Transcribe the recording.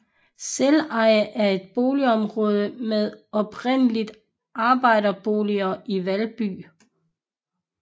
Selveje er et boligområde med oprindeligt arbejderboliger i Valby